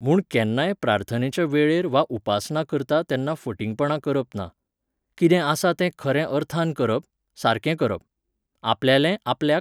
म्हूण केन्नाय प्रार्थनेच्या वेळेर वा उपासना करता तेन्ना फटिंगपणां करप ना. कितें आसा तें खरें अर्थान करप, सारकें करप. आपल्यालें आपल्याक